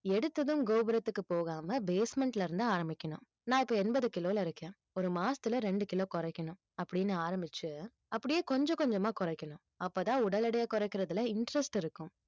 எடுத்ததும் கோபுரத்துக்கு போகாமல் basement ல இருந்து ஆரம்பிக்கணும் நான் இப்ப, எண்பது கிலோல இருக்கேன் ஒரு மாசத்துல ரெண்டு கிலோ குறைக்கணும் அப்படின்னு ஆரம்பிச்சு அப்படியே கொஞ்சம் கொஞ்சமா குறைக்கணும் அப்பதான் உடல் எடையை குறைக்கிறதுல interest இருக்கும்